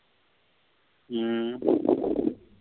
ம்.